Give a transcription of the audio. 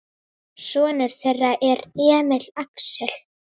Sonur þeirra er Emil Axel.